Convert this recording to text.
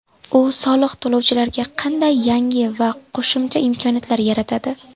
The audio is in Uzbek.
U soliq to‘lovchilarga qanday yangi va qo‘shimcha imkoniyatlar yaratadi?